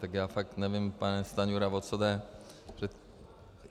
Tak já fakt nevím, pane Stanjuro, o co jde.